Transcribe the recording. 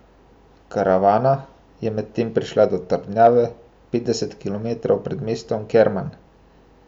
Karavana je medtem prišla do trdnjave petdeset kilometrov pred mestom Kerman.